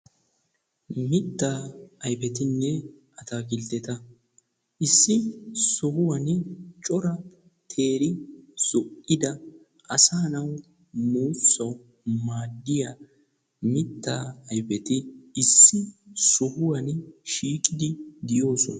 mitta ayfetinne atakiltteti issi sohuwan cora teeri zo'iddi asa naawu muussaw maadiyaa miitta ayfeti issi sohuwaa shiiqidi doosona.